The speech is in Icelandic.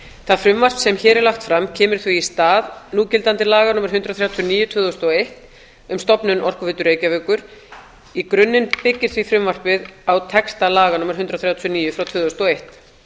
það frumvarp sem hér er lagt fram kemur því í stað núgildandi laga númer hundrað þrjátíu og níu tvö þúsund og eitt um stofnun orkuveitu reykjavíkur í grunninn byggir því frumvarpið á texta laga númer hundrað þrjátíu og níu tvö þúsund og eitt